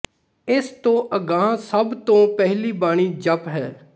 ਇਸ ਤੋਂ ਅਗਾਂਹ ਸਭ ਤੋਂ ਪਹਿਲੀ ਬਾਣੀ ਜਪੁ ਹੈ